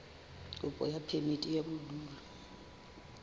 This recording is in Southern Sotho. kopo ya phemiti ya bodulo